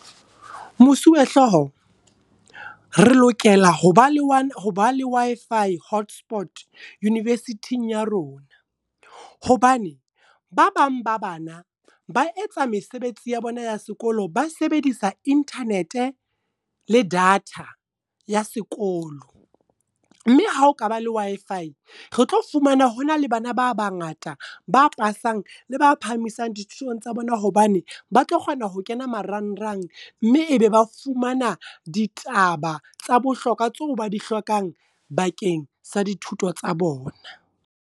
Mosuwehlooho, re lokela ho ba le Wi-Fi hotspot Universiting ya rona. Hobane, ba bang ba bana, ba etsa mesebetsi ya bona ya sekolo ba sebedisa internet le data ya sekolo. Mme ha okaba le Wi-Fi, re tlo fumana hona le bana ba bangata ba pasang le ba phahamisang dithutong tsa bona. Hobane ba tlo kgona ho kena marang rang mme ebe ba fumana ditaba tsa bohlokwa tseo ba di hlokang bakeng sa dithuto tsa bona.